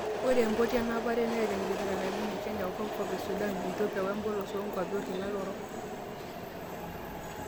Ore empoti enapare neeta enkipirta naibungia Kenya o Kopkop Sudan, Ethiopia wemoplos oonguapi olkila orok.